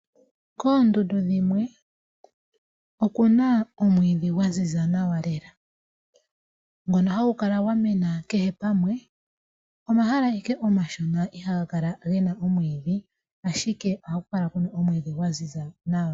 Koondundu dhimwe oku na omwidhi gwa ziza nawa lela, ngono hagu kala gwamena kehe pamwe. Omahala owala omashona ihaga kala ge na omwidhi, ashike ohaku kala ku na omwidhi gwa ziza nawa.